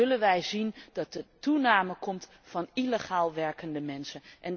Dan zullen wij zien dat er een aanwas komt van illegaal werkende mensen.